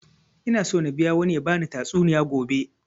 Ina so na biya wani ya bani tatsuniya gobe